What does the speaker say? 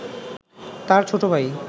তাঁর ছোট ভাই